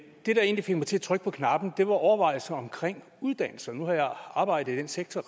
det der egentlig fik mig til at trykke på knappen var overvejelser omkring uddannelse nu har jeg arbejdet i den sektor